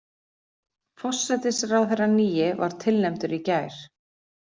Forsætisráðherrann nýi var tilnefndur í gær